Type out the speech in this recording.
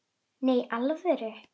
Nei, í alvöru